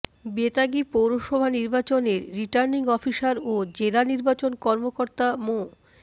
বেতাগী পৌরসভা নির্বাচনের returning officer ও জেলা নির্বাচন কর্মকর্তা মো